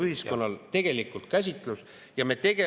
… ühiskonnal puudub tegelikult arusaam sellest käsitlusest.